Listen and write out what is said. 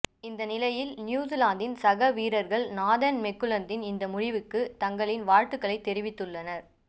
இந்நிலையில் நியூசிலாந்தின் சக வீரர்கள் நாதன் மெக்குல்லத்தின் இந்த முடிவுக்கு தங்களின் வாழ்த்துகளை தெரிவித்துள்ளனர்